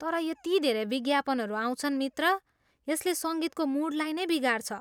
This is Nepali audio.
तर यति धेरै विज्ञापनहरू आउँछन् मित्र, यसले सङ्गीतको मुडलाई नै बिगार्छ।